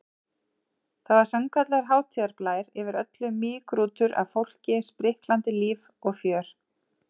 Það var sannkallaður hátíðarblær yfir öllu, mýgrútur af fólki, spriklandi líf og fjör.